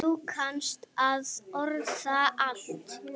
Þú kannt að orða allt.